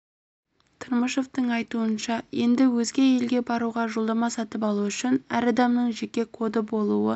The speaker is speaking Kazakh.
тырмышевтің айтуынша енді өзге елге баруға жолдама сатып алу үшін әр адамның жеке коды болуы